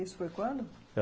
Isso foi quando?